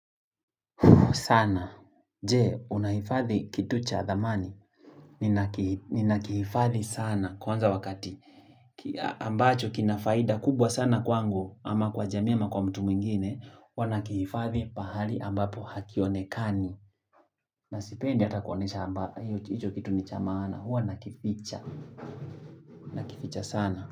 Sana. Jee, unahifadhi kitu cha thamani. Ninakihifadhi sana. Kwanza wakati ambacho kinafaida kubwa sana kwangu ama kwa jamii ama kwa mtu mwingine. Wanakihifadhi pahali ambapo hakionekani. Nasipendi hata kuonesha hicho kitu ni cha maana. Huwa nakificha. Nakificha sana.